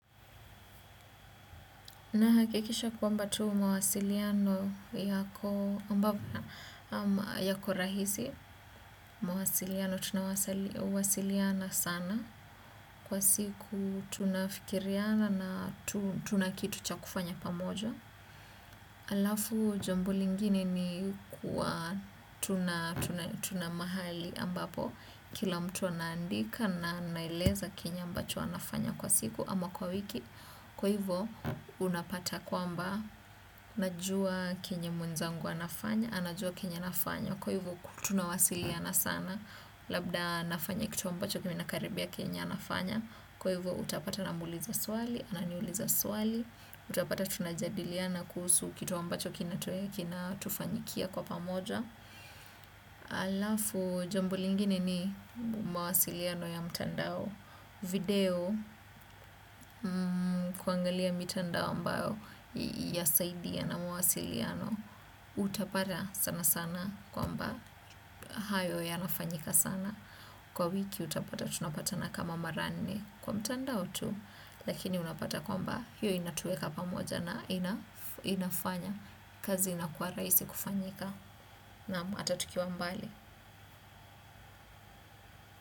Nahakikisha kwamba tu mawasiliano yako rahisi. Mawasiliano tunawasiliana sana. Kwa siku tunafikiriana na tuna kitu cha kufanya pamoja. Alafu jambo lingine ni kuwa tuna mahali ambapo. Kila mtu anaandika na anaeleza kenye ambacho anafanya kwa siku ama kwa wiki. Kwa hivyo, unapata kwamba, najua kenye mwenzangu anafanya, anajua kenye anafanya. Kwa hivyo, tunawasiliana sana, labda nafanya kitu ambacho kinakaribia kenye anafanya. Kwa hivyo, utapata namuuliza swali, ananiuliza swali. Utapata tunajadiliana kuhusu kitu ambacho, kinatufanyikia kwa pamoja. Alafu, jambo lingine ni mawasiliano ya mtandao. Video kuangalia mitandao ambayo yasaidia na mawasiliano. Utapata sanasana kwamba hayo yanafanyika sana. Kwa wiki unapata tunapatana kama mara nne, kwa mtandao tu. Lakini unapata kwamba hiyo inatuweka pamoja na ina inafanya kazi inakuwa rahisi kufanyika naam, hata tukiwa mbali.